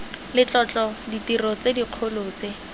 letlotlo ditiro tse dikgolo tse